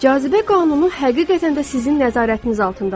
Cazibə qanunu həqiqətən də sizin nəzarətiniz altındadır.